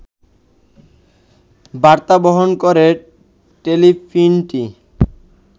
বার্তা বহন করে টেলিফিল্মটি